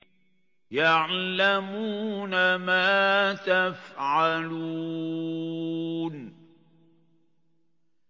يَعْلَمُونَ مَا تَفْعَلُونَ